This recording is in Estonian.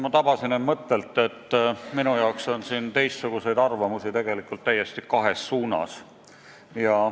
Ma tabasin end mõttelt, et minu jaoks on siin teistsuguseid arvamusi tegelikult kahes suunas.